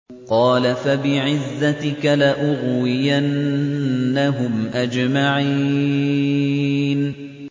قَالَ فَبِعِزَّتِكَ لَأُغْوِيَنَّهُمْ أَجْمَعِينَ